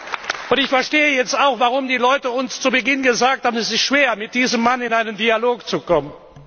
Und ich verstehe jetzt auch, warum die Leute uns zu Beginn gesagt haben, es ist schwer, mit diesem Mann in einen Dialog zu kommen.